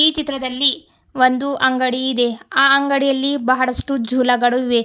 ಈ ಚಿತ್ರದಲ್ಲಿ ಒಂದು ಅಂಗಡಿ ಇದೆ ಆ ಅಂಗಡಿಯಲ್ಲಿ ಬಹಳಷ್ಟು ಜುಳಗಳು ಇವೆ.